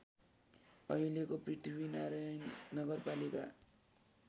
अहिलेको पृथ्वीनारायण नगरपालिका